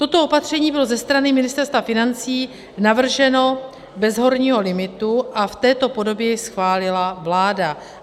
Toto opatření bylo ze strany Ministerstva financí navrženo bez horního limitu a v této podobě jej schválila vláda.